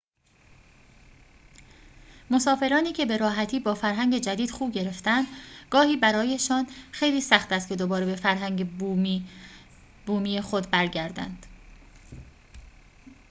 مسافرانی که به‌راحتی با فرهنگ جدید خو گرفتند گاهی برایشان خیلی سخت است که دوباره به فرهنگ بومی خود برگردند